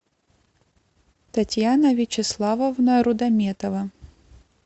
татьяна вячеславовна рудометова